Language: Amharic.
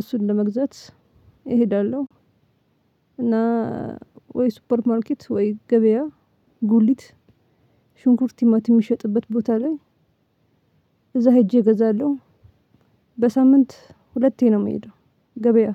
እሱን ለመግዛት እሄዳለሁ። እና ወይ ሱፐር ማርኬት ወይ ገበያ ጉልት ሽንኩርት ቲማቲም የሚሸጥበት ቦታ ላይ እዛ ሄጄ እገዛለሁ። በሳምንት ሁለቴ ነው የምሄደው ገበያ